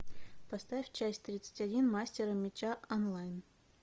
поставь часть тридцать один мастера меча онлайн